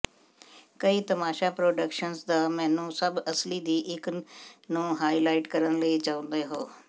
ਕਈ ਤਮਾਸ਼ਾ ਪ੍ਰੋਡਕਸ਼ਨਜ਼ ਦਾ ਮੈਨੂੰ ਸਭ ਅਸਲੀ ਦੀ ਇੱਕ ਨੂੰ ਹਾਈਲਾਈਟ ਕਰਨ ਲਈ ਚਾਹੁੰਦੇ ਹੋ